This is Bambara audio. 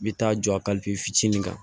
N bɛ taa jɔ a kalifitini na